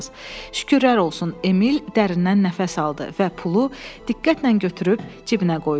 Şükürlər olsun, Emil dərindən nəfəs aldı və pulu diqqətlə götürüb cibinə qoydu.